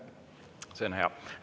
See on hea.